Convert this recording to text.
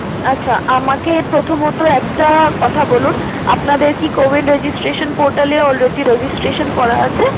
আচ্ছা আমাকে প্রথমত একটা কথা বলুন, আপনাদের কি cowin registration portal এ already registration করা আছে?